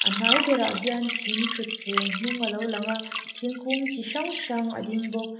hnai berah hian thing thutthleng hnung a lo lang a thinkung chi hrang hrang a ding bawk